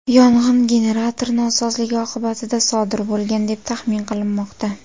Yong‘in generator nosozligi oqibatida sodir bo‘lgan, deb taxmin qilinmoqda.